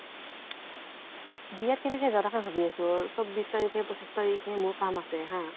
বিয়াত কেনেকে যাওঁ, তাকে ভাবি আছো। চৌব্বিছ তাৰিখে পঁচিছ তাৰিখে মোৰ কাম আছে হা